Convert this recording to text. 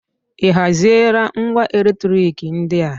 Ị haziela ngwa eletriki ndị a?